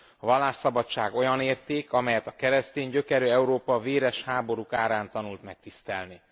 A vallásszabadság olyan érték, amelyet a keresztény gyökerű Európa véres háborúk árán tanult meg tisztelni.